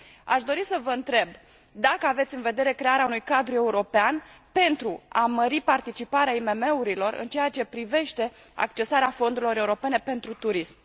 Aș dori să vă întreb dacă aveți în vedere crearea unui cadru european pentru a mări participarea IMM urilor în ceea ce privește accesarea fondurilor europene pentru turism.